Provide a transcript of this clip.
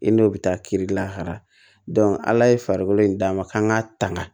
I n'o bɛ taa kiri lahara ala ye farikolo in d'a ma k'an ka tanga